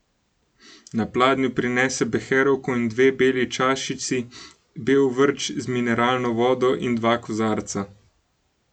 Na pladnju prinese beherovko in dve beli čašici, bel vrč z mineralno vodo in dva kozarca.